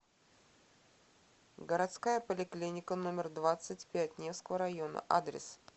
городская поликлиника номер двадцать пять невского района адрес